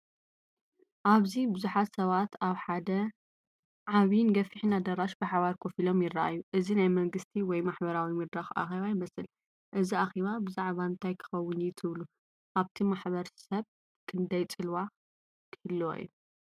ኣብዚ ብዙሓት ሰባት ኣብ ሓደ ዓቢን ገፊሕን ኣዳራሽ ብሓባር ኮፍ ኢሎም ይረኣዩ። እዚ ናይ መንግስቲ ወይ ማሕበረሰባዊ መድረኽ ኣኼባ ይመስል። እዚ ኣኼባ ብዛዕባ እንታይ ክኸውን እዩ ትብሉ? ኣብቲ ማሕበር ሰብ ክንደይ ጽልዋ ክህልዎ እዩ?